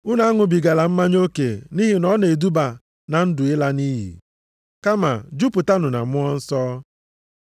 Unu aṅụbigala mmanya oke nʼihi na ọ na-eduba na ndụ ịla nʼiyi. Kama jupụtanụ na Mmụọ Nsọ,